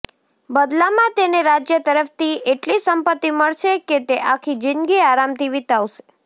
બદલામાં તેને રાજ્ય તરફથી એટલી સંપત્તિ મળશે કે તે આખી જિંદગી આરામથી વિતાવશે